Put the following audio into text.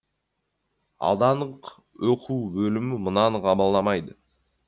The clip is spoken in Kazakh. аудандық оқу бөлімі мынаны қабылдамайды